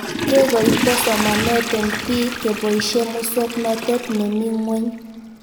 Kekoito somanet eng'pik keboishe muswog'natet nemii ng'weny